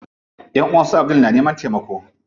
Ƴanʼuwan su Abdul na neman taimako.